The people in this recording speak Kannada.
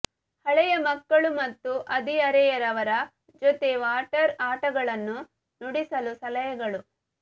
ಹಳೆಯ ಮಕ್ಕಳು ಮತ್ತು ಹದಿಹರೆಯದವರ ಜೊತೆ ವಾಟರ್ ಆಟಗಳನ್ನು ನುಡಿಸಲು ಸಲಹೆಗಳು